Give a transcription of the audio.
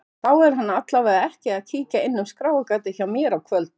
Þá er hann allavega ekki að kíkja inn um skráargatið hjá mér á kvöldin.